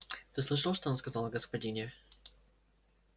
ты слышал что он сказал о господине